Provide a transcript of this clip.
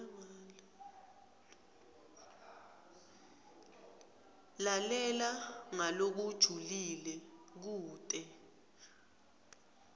lalela ngalokujulile kute